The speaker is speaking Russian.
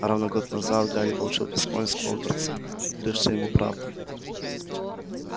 а ровно год назад гарри получил письмо из хогвартса открывшее ему правду